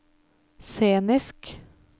scenisk